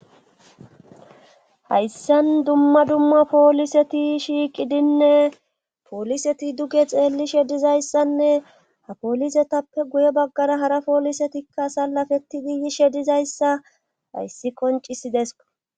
Hayssan dumma dumma pooliseti shiiqidinne pooliseti duge xeellishe dizayssanne ha poolisetappe guye baggara hara poolisetikka sallafettidi yishe dizayssa hayssi qoncisideso.